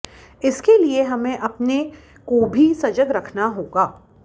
इसके लिए हमें अपने को भी सजग रखना होगा